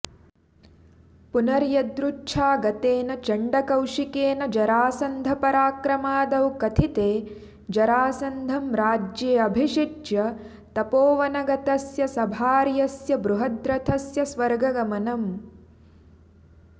पुनर्यदृच्छागतेन चण्डकौशिकेन जरासन्धपराक्रमादौ कथिते जरासन्धं राज्येऽभ िषिच्य तपोवनगतस्य सभार्यस्य बृहद्रथस्य स्वर्गगमनम्